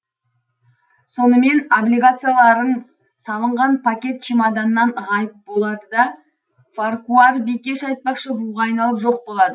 сонымен облигацияларың салынған пакет чемоданнан ғайып болады да фаркуар бикеш айтпақшы буға айналып жоқ болады